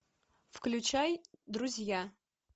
включай друзья